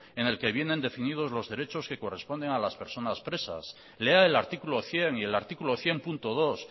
en el que vienen definidos los derechos que corresponden a las personas presas lea el artículo cien y el artículo cien punto dos